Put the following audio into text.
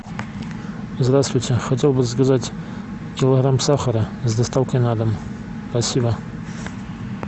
здравствуйте хотел бы заказать килограмм сахара с доставкой на дом спасибо